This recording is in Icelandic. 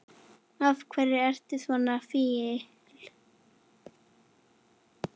Af hverju ertu svona fín?